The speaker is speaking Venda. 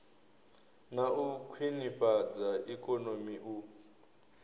na u khwinifhadza ikonomi u